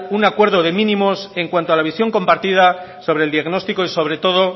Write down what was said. un acuerdo de mínimos en cuanto a la visión compartida sobre el diagnóstico y sobre todo